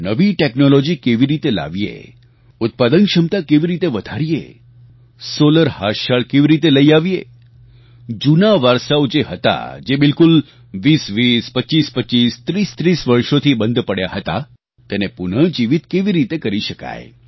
નવી ટેકનોલોજી કેવી રીતે લાવીએ ઉત્પાદન ક્ષમતા કેવી રીતે વધારીએ solarહાથશાળ કેવી રીતે લઈ આવીએ જૂના વારસાઓ જે હતા જે બિલકુલ ૨૦૨૦ ૨૫૨૫ ૩૦૩૦ વર્ષોથી બંધ પડ્યા હતા તેને પુનઃજીવીત કેવી રીતે કરી શકાય